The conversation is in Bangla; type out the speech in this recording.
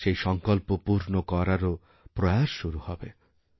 সেই সঙ্কল্প পূর্ণ করারও প্রয়াস শুরুহবে